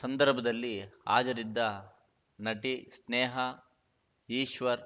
ಸಂದರ್ಭದಲ್ಲಿ ಹಾಜರಿದ್ದ ನಟಿ ಸ್ನೇಹಾ ಈಶ್ವರ್‌